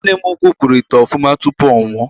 Nne m ukwu kpụrụ ite ofuma tupu ọ nwụọ.